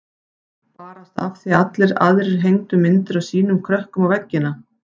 Barasta af því að allir aðrir hengdu myndir af sínum krökkum á veggina.